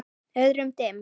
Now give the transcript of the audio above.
Öðrum dimm.